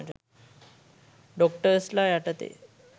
ඩොක්ටර්ස්ලා යටතේ.